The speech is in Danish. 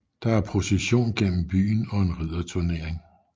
Der er procession igennem byen og en ridderturnering